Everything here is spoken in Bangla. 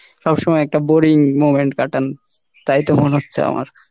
সব সময় একটা boring moment কাটান, তাই তো মনে হচ্ছে আমার।